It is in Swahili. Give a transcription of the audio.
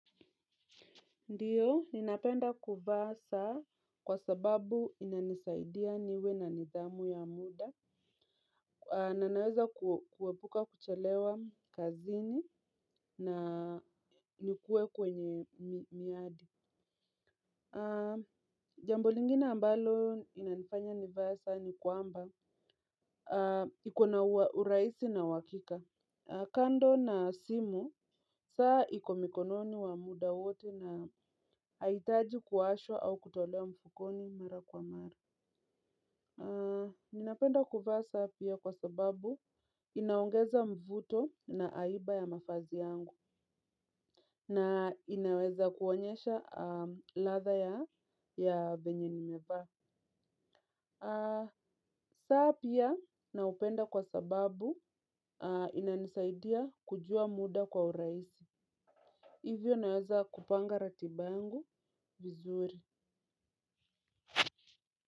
Ndiyo, ninapenda kuvaa saa kwa sababu inanisaidia niwe na nidhamu ya muda. Na naweza kuepuka kuchelewa kazini na nikuwe kwenye miadi. Jambo lingine ambalo inanifanya nivae saa ni kwamba iko na urahisi na uhakika. Kando na simu, saa iko mikononi wa muda wote na haihitaji kuwashwa au kutolewa mfukoni mara kwa mara. Ninapenda kuvaa saa pia kwa sababu inaongeza mvuto na aiba ya mavazi yangu na inaweza kuonyesha ladha ya venye nimevaa. Saa pia na upenda kwa sababu ina nisaidia kujua muda kwa urahisi. Hivyo naweza kupanga ratiba yangu vizuri.